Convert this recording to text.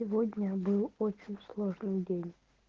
сегодня был очень сложный день